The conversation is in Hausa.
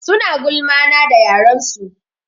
Suna gulma na da yaren su.